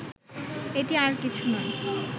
এটি আর কিছু নয়